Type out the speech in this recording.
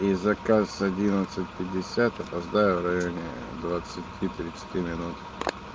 и заказ одиннадцать пятьдесят опоздаю в районе двадцати тридцати минут